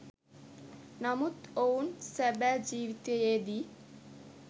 නමුත් ඔවුන් සැබෑ ජීවිතයේදී